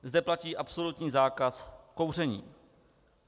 Zde platí absolutní zákaz kouření.